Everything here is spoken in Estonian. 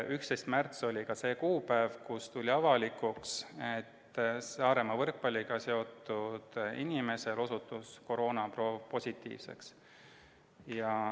11. märts oli ühtlasi see kuupäev, kui tuli avalikuks, et Saaremaa võrkpalliüritusega seotud inimesel osutus koroonaproov positiivseks.